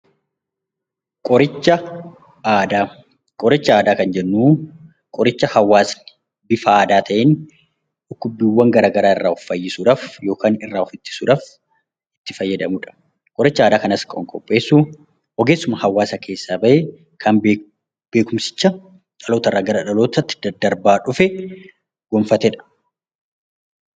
Qoricha aadaa kan jennu qoricha hawaasni bifa aadaa ta'een dhukkubbiiwwan garaagaraa irraa of fayyisuuf itti fayyadamudha. Qoricha aadaa kanas kan qopheessu ogeessuma hawaasa kana keessaa bahe kan beekumsa dhalootaa dhalootatti darbaa dhufe kan gonfatedha.